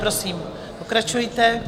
Prosím, pokračujte.